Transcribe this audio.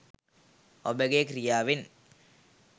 ඔබගේ ක්‍රියාවෙන්